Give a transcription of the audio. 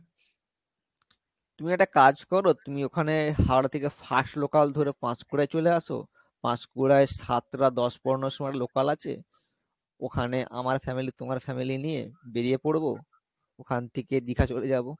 তুমি একটা কাজ করো তুমি ওখানে হাওড়া থেকে fast local ধরে পাচপুরাই চলে আসো পাচপুরাই সাতটা দশ পনেরো সময় local আছে ওখানে আমার family তোমার family নিয়ে বেরিয়ে পরবো ওখান থেকে দীঘা চলে যাবো